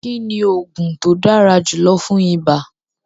Kíni oogun ti o dára julọ̀ fún ìbà?